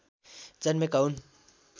जन्मेका हुन्